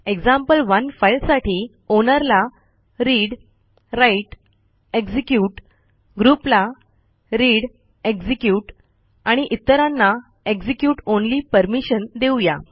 example one फाईलसाठी owner ला readwriteएक्झिक्युट groupला readएक्झिक्युट आणि इतरांना execute ऑनली परमिशन देऊ या